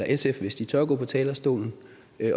sf hvis de tør gå på talerstolen